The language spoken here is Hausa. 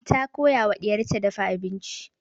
Ta koya wa ɗiyar ta dafa abinci.